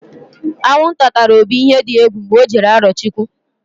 Aṅụnta tara Obi ihe di egwu mgbe ọ jere Arọchụkwụ.